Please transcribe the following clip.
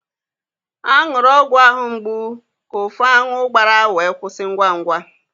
A ṅụrụ ọgwụ ahụ mgbu ka ufu aṅụ gbàrà wee kwụsị ngwa ngwa.